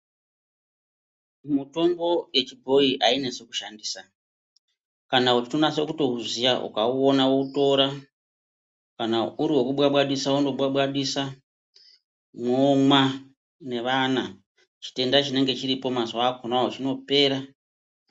Mutombo yechibhoyi ainesi kushandisa kana uchitonaso kutouziya ukauona wotora kana uri wokubwabwadisa wondobwabwasisa momwa nevana chitenda chinenge chiripo mazuwa akonawo chinopera.